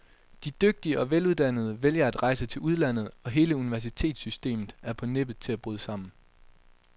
De dygtige og veluddannede vælger at rejse til udlandet, og hele universitetssystemet er på nippet til at bryde sammen.